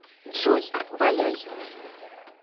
джой валяй